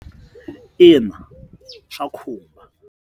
Ina, swa khumba.